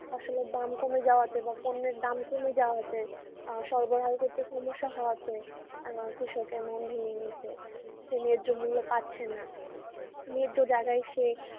ফসলের দাম কমে যাওয়াতে বা পণ্যের দাম কমে যাওয়াতে আহ হওয়াতে আহ কৃষকের মন ভেঙে গেছে ন্যাহ্য মূল্য পাচ্ছে না ন্যাহ্য জায়গায় সে